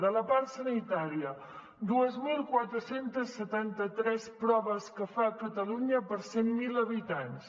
de la part sanitària dos mil quatre cents i setanta tres proves que fa catalunya per cent mil habitants